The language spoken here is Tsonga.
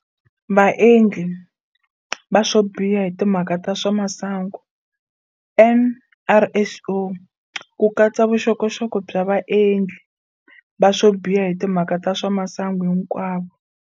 Vaendli va swobiha hi timhaka ta swa masangu, NRSO, ku katsa vuxokoxoko bya vaendli va swobiha hi timhaka ta swa masangu hinkwavo.